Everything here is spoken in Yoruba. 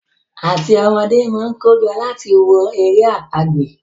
áti ọn ọmọdé món kojo láti wò èrè àpagbè